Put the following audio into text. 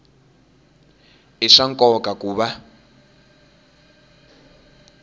i swa nkoka ku va